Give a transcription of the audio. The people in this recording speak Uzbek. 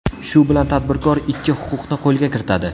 Shu bilan tadbirkor ikki huquqni qo‘lga kiritadi.